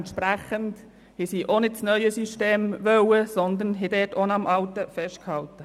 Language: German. Dementsprechend haben sie auch nicht das neue System gewollt, sondern hier am alten festgehalten.